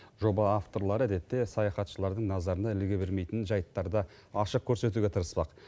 жоба авторлары әдетте саяхатшылардың назарына іліге бермейтін жайттарды ашық көрсетуге тырыспақ